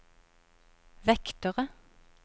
vektere